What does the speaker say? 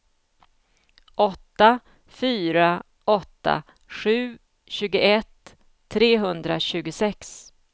åtta fyra åtta sju tjugoett trehundratjugosex